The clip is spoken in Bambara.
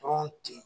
Dɔrɔn ten